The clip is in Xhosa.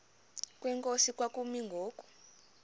kwenkosi kwakumi ngoku